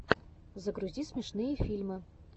загрузи смешные фильмы